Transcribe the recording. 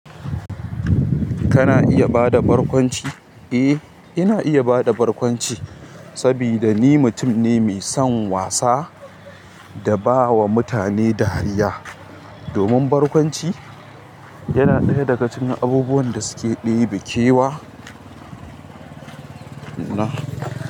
Kana iya bada barkwanci? Eh, ina iya bada barkwanci saboda ni mutum ne mai son wasa da bawa mutane dariya. Domin barkwanci yana ɗaya daga cikin abubuwan da suke ɗebe kewa na.